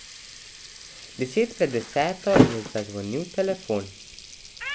Deset pred deseto je zazvonil telefon.